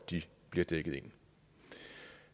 bliver dækket ind